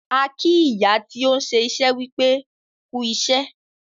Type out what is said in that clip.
A kì ìyá tí òun ṣé iṣẹ́ wípé wọn "kú ìṣẹ́".